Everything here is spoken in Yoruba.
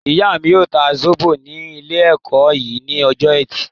Ìyá mí yóò ta zóbò ní ilé-ẹ̀kọ́ yín ní ọjọ ẹtì